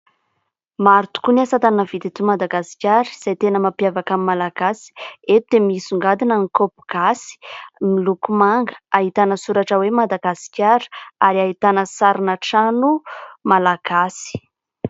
Maro tokoa ny asatanana vita eto Madagasikara izay tena mampiavaka ny Malagasy ; eto de misongadina ny kaopy gasy, miloko manga ; ahitana soratra hoe : Madagasikara ary ahitana sarina trano malagasy.